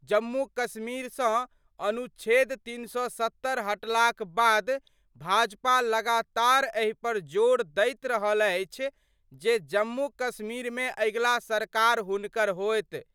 जम्मू कश्मीर स अनुच्छेद 370 हटला क बाद भाजपा लगातार एहि पर जोर दैत रहल अछि जे जम्मू कश्मीर मे अगिला सरकार हुनकर होएत।